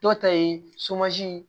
Dɔ ta ye ye